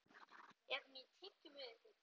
Er hún í tygjum við einhvern?